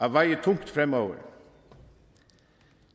at veje tungt fremover